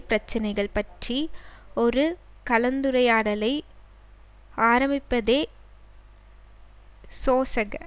பிரச்சினைகள் பற்றி ஒரு கலந்துரையாடலை ஆரம்பிப்பதே சோசக